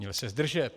Měl se zdržet.